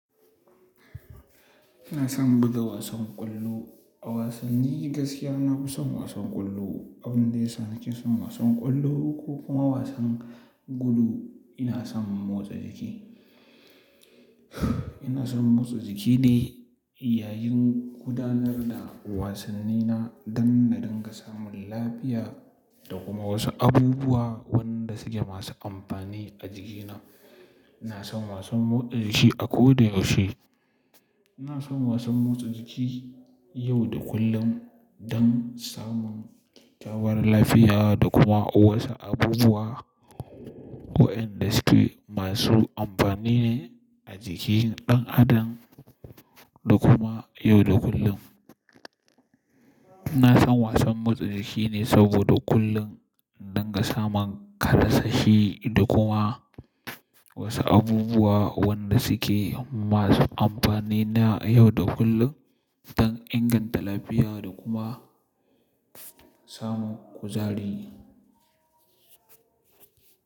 Ina son buga wasan ƙwallo. A wasanni gaskiya, na fi son wasan ƙwallo. Abin da ya sa nake son wasan ƙwallo ko kuma wasan gudu, ina son motsa jiki. Ina son motsa jiki ne yayin gudanar da wasannina don na dinga samun lafiya da kuma wasu abubuwa wanda suke masu amfani a jikina. Ina son wasan motsa jiki a koda yaushe. Ina son wasan motsa jiki yau da kullum don samun kyakykyawar lafiya da kuma wasu abubuwa waƴanda suke masu amfani ne a jikin ɗan adam da kuma yau da kullum. Ina son wasan motsa jiki ne saboda kullum in dunga samun karsashi da kuma wasu abubuwa wanda suke masu amfani na yau da kullum don inganta lafiya da kuma samun kuzari.